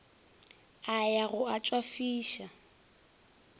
a ya go a tšwafiša